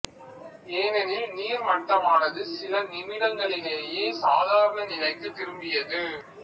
ஏனெனில் நீர் மட்டமானது சில நிமிடங்களிலேயே சாதாரண நிலைக்கு திரும்பியது